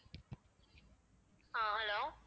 ஆஹ் hello